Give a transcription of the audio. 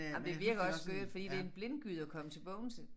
Ej men det virker også skørt fordi det en blindgyde at komme til Bogense